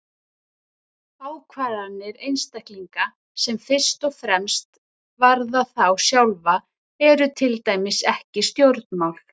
Ákvarðanir einstaklinga sem fyrst og fremst varða þá sjálfa eru til dæmis ekki stjórnmál.